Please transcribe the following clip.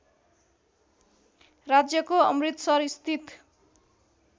राज्यको अमृतसरस्थित